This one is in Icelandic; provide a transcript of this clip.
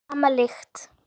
Sama lykt.